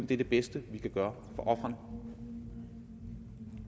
det er det bedste vi kan gøre